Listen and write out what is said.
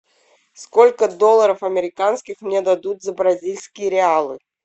сколько долларов американских мне дадут за бразильские реалы